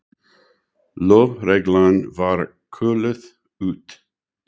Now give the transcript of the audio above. Lögreglan var kölluð út.